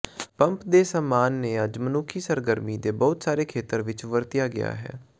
pump ਦੇ ਸਾਮਾਨ ਨੇ ਅੱਜ ਮਨੁੱਖੀ ਸਰਗਰਮੀ ਦੇ ਬਹੁਤ ਸਾਰੇ ਖੇਤਰ ਵਿੱਚ ਵਰਤਿਆ ਗਿਆ ਹੈ